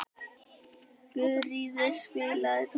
Guðríður, spilaðu tónlist.